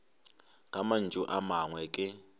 ka mantšu a mangwe ke